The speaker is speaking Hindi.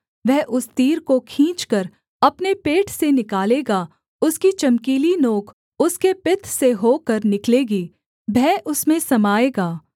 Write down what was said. वह उस तीर को खींचकर अपने पेट से निकालेगा उसकी चमकीली नोंक उसके पित्त से होकर निकलेगी भय उसमें समाएगा